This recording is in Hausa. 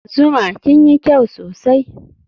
zuma kinyi kyau sosai